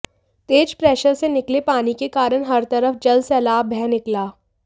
तेज pressure से निकले पानी के कारण हर तरफ जल सैलाब बह निकला